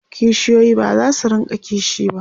kishiyoyi bazasu rinka kishi ba